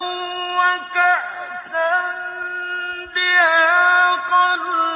وَكَأْسًا دِهَاقًا